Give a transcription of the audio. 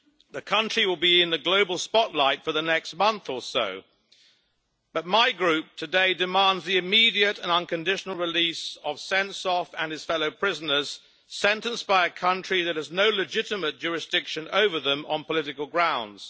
The country will be in the global spotlight for the next month or so, but my Group today demands the immediate and unconditional release of Sentsov and his fellow prisoners, sentenced by a country that has no legitimate jurisdiction over them on political grounds.